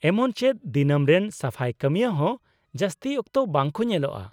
ᱮᱢᱚᱪ ᱪᱮᱫ ᱫᱤᱱᱟᱹᱢ ᱨᱮᱱ ᱥᱟᱯᱷᱟᱭ ᱠᱟᱹᱢᱤᱭᱟᱹ ᱦᱚᱸ ᱡᱟᱹᱥᱛᱤ ᱚᱠᱛᱚ ᱵᱟᱝ ᱠᱚ ᱧᱮᱞᱳᱜᱼᱟ ᱾